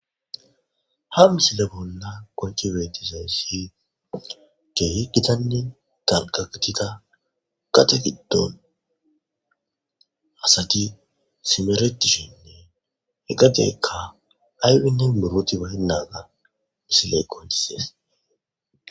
Ha misile bolla konchi beetizayssi gehe gitanni tanqatita gate giddon asati simeretishinne hegadekka aywinnin buroti bayennaaga misiley qontises